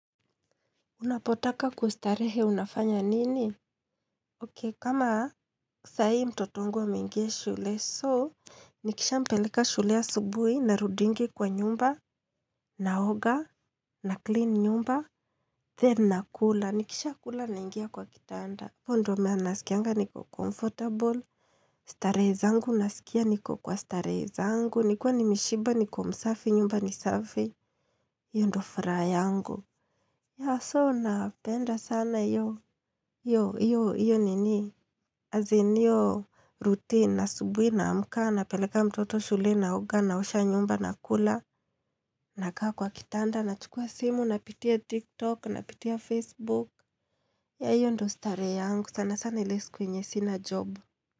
Unapotaka kustarehe unafanya nini? Ok, kama sa hii mtoto wangu ameinga shule, so, nikisha mpeleka shule asubuhi na rudingi kwa nyumba, naoga, na clean nyumba, then na kula, nikisha kula naingia kwa kitanda. Hapo ndio mahali nasikianga niko comfortable, starehe zangu nasikia niko kwa starehe zangu, nikiwa ni meshiba niko msafi nyumba nisafi, hio ndo furaha yangu. Ya so napenda sana iyo, iyo, iyo nini, azin io routine asubui naamka napeleka mtoto shule na oga na osha nyumba na kula, na kaa kwa kitanda, na chukua simu, na pitia tiktok, na pitia facebook, ya iyo ndo starehe yangu, sana sana ili siku enye sina job.